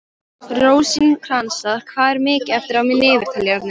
Rósinkransa, hvað er mikið eftir af niðurteljaranum?